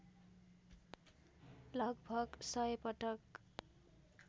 लगभग १०० पटक